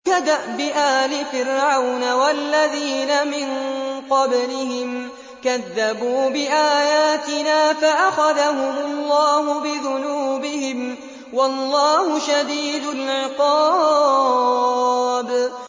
كَدَأْبِ آلِ فِرْعَوْنَ وَالَّذِينَ مِن قَبْلِهِمْ ۚ كَذَّبُوا بِآيَاتِنَا فَأَخَذَهُمُ اللَّهُ بِذُنُوبِهِمْ ۗ وَاللَّهُ شَدِيدُ الْعِقَابِ